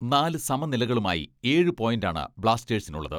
നാല് സമനിലകളുമായി ഏഴ് പോയ്ന്റാണ് ബ്ലാസ്റ്റേഴ്സിനുള്ളത്.